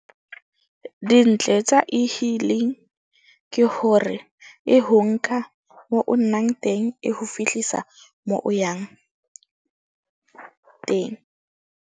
Dintle tsa E-hailing ke hore e ho nka mo o nang teng, e ho fihlisa mo o yang teng.